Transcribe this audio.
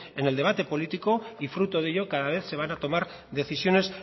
en el debate político y fruto de ello cada vez se van a tomar decisiones